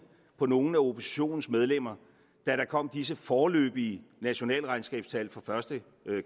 på nogle af oppositionens medlemmer da der kom disse foreløbige nationalregnskabstal fra første